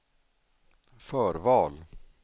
förval